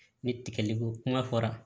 Ni tigɛli ko kuma fɔra